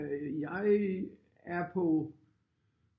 Øh jeg er på